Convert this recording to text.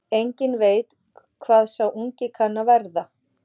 Enginn veit hvað sá ungi kann að verða.